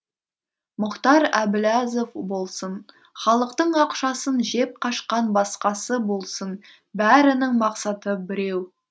мұхтар әбіләзов болсын халықтың ақшасын жеп қашқан басқасы болсын бәрінің мақсаты біреу